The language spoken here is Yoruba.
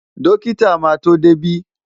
Dọ́kítà máa tó dé bí.